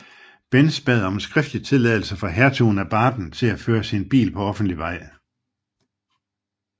Benz bad om en skriftlig tilladelse fra Hertugen af Baden til at føre sin bil på offentlig vej